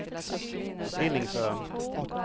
Stillingsön